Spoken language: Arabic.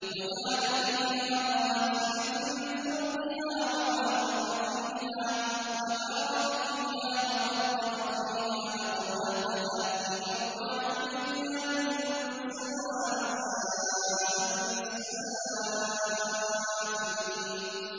وَجَعَلَ فِيهَا رَوَاسِيَ مِن فَوْقِهَا وَبَارَكَ فِيهَا وَقَدَّرَ فِيهَا أَقْوَاتَهَا فِي أَرْبَعَةِ أَيَّامٍ سَوَاءً لِّلسَّائِلِينَ